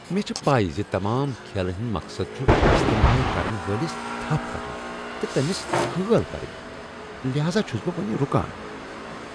مےٚ چھ پَے زِ تمام کھیلن ہنٛد مقصد چُھ استعمال كرن وٲلِس تھپھ کرٕنۍ، تہٕ تمِس ہٲل کرٕنۍ، لہذا چُھس بہ وُنۍ رُکان۔